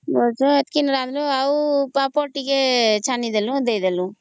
ବୋଲେ ଏତିକି ରାନ୍ଧିଲୁ ପାମ୍ପଡ଼ ଟିକେ ଛାଣି ଦେଲୁ ଦେଇଦେଲୁ